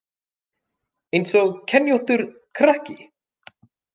Eins og kenjóttur krakki